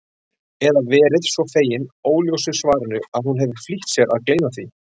Eða verið svo fegin óljósu svarinu að hún hefur flýtt sér að gleyma því.